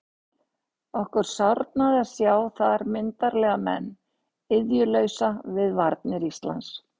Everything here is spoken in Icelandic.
Okkur sárnaði að sjá þar myndarlega menn iðjulausa við varnir landsins.